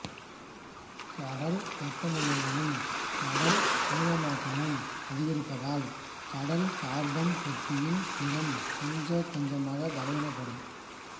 கடல் வெப்பநிலைகளும் கடல் அமிலமயமாக்கமும் அதிகரிப்பதால் கடல் கார்பன் தொட்டியின் திறன் கொஞ்சம் கொஞ்சமாய் பலவீனப்படும்